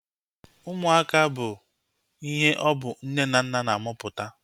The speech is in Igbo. Ụmụaka bụ ihe ọ bụ nne na nna na-amụpụta